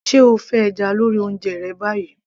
se o fẹ́ ẹja lórí oúnjẹ rẹ báyìí